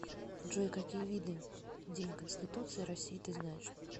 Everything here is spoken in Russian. джой какие виды день конституции россии ты знаешь